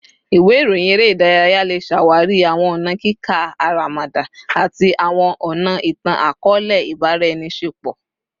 Iwe iroyin ere idaraya le ṣawari awọn ọna kika aramada ati awọn ọna itan-akọọlẹ ibaraenisepo